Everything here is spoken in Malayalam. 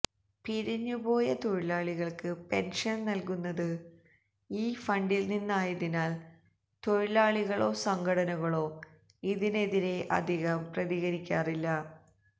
പിരിഞ്ഞുപോയ തൊഴിലാളികള്ക്ക് പെന്ഷന് നല്കുന്നത് ഈ ഫണ്ടില് നിന്നായതിനാല് തൊഴിലാളികളോ സംഘടനകളോ ഇതിനെതിരെ അധികം പ്രതികരിക്കാറില്ല